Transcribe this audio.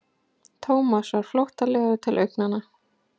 Thomas varð flóttalegur til augnanna.